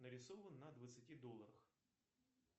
нарисован на двадцати долларах